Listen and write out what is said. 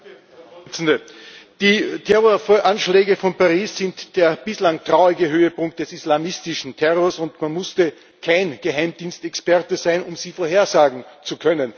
Herr Präsident! Die Terroranschläge von Paris sind der bislang traurige Höhepunkt des islamistischen Terrors, und man musste kein Geheimdienstexperte sein, um sie vorhersagen zu können.